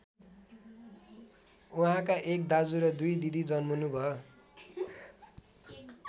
उहाँका एक दाजु र दुई दिदी जन्मनुभयो।